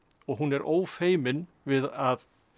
og hún er ófeimin við að